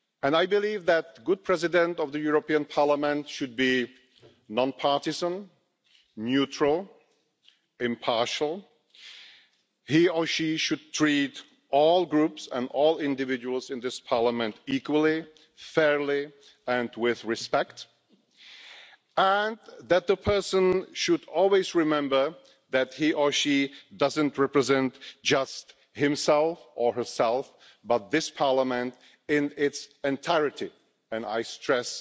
I believe that a good President of the European Parliament should be non partisan, neutral and impartial. He or she should treat all Groups and all individuals in this Parliament equally, fairly and with respect, and the person should always remember that he or she doesn't represent just himself or herself but this Parliament in its entirety, and I stress